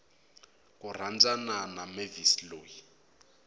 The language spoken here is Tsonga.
ku rhandzana na mavis loyi